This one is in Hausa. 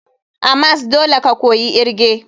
A mas dole ka koyi irge.